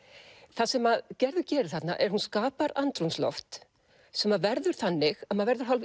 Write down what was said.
það sem Gerður gerir þarna er að hún skapar andrúmsloft sem verður þannig að maður verður hálf